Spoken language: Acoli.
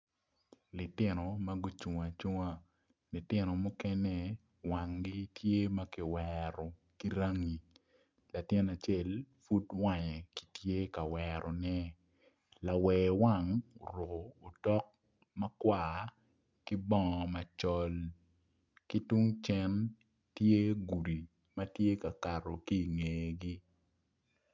Lutino magucung acunga, lutino mukene wangi tye makiwero kirangi latin acel pud wange kitye ka werone lawer wang oruko otok makwar ki bongo macol ki tung cen tye gudi matye kakaro kingegi.